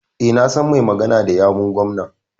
E, na san mai magana da yawun gwamnan.